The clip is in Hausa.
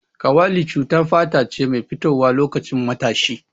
Kawali cutar fata ce mai fitowa loƙacin matashi.